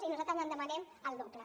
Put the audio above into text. i nosaltres en demanem el doble